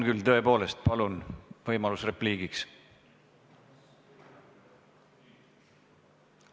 Jah, tõepoolest, teil on võimalus repliigiks.